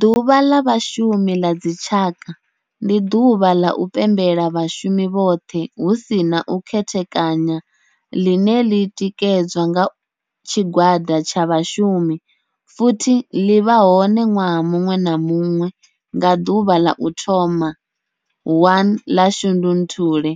Ḓuvha la Vhashumi la dzi tshaka, ndi duvha la u pembela vhashumi vhothe hu si na u khethekanya line li tikedzwa nga tshigwada tsha vhashumi futhi li vha hone nwaha munwe na munwe nga duvha la u thoma 1 la Shundunthule